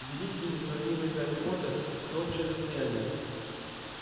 великий несравненный гарри поттер всеобщее достояние